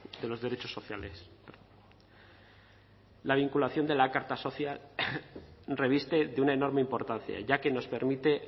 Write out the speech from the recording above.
de los derechos sociales la vinculación de la carta social reviste de una enorme importancia ya que nos permite